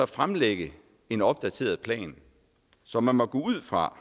fremlægge en opdateret plan så man må gå ud fra